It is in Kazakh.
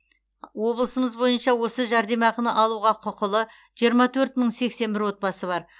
облысымыз бойынша осы жәрдемақыны алуға құқылы жиырма төрт мың сексен бір отбасы бар